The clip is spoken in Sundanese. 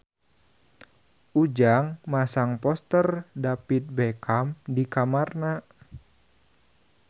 Ujang masang poster David Beckham di kamarna